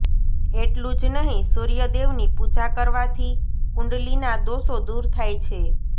એટલું જ નહીં સૂર્ય દેવની પૂજા કરવાથી કુંડલીના દોષો દૂર થાય છે